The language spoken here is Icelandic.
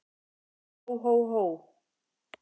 Hó, hó, hó!